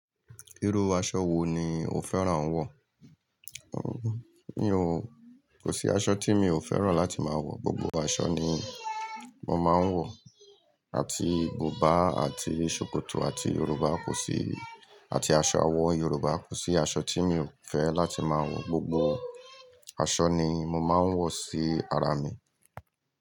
Irú aṣọ wo ni o fẹ́ràn ń wọ̀? Mi ò, kò sí aṣọ tí mi ò fẹ́ràn láti máa wọ̀, gbogbo aṣọ ni mo máa ń wọ̀. Àti buba, àti ṣòkòtò, àti Yoruba kò sí, àti aṣọ àwọn yoruba, kò sí aṣọ tí mi ò fẹ́ láti máa wọ̀, gbogbo aṣọ ni mo máa ń wọ̀ sí ara mi.